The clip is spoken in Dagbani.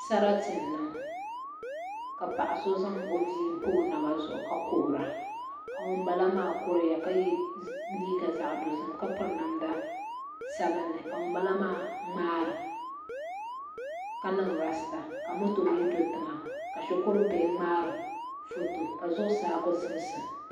Sarati n niŋ ka paɣa so zaŋ o bia pa o naba zuɣu ka kuhura ka ŋun bala maa kuriya ka yɛ liiga zaɣ dozim ka piri namda sabinli ka ŋunbala maa ŋmaara ka niŋ raasta ka moto do tiŋa ka shikuri bihi ŋmaari foto ka zuɣusaa ku zimsa